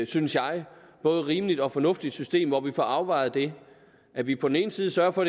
synes jeg både rimeligt og fornuftigt system hvor vi får afvejet det at vi på den ene side sørger for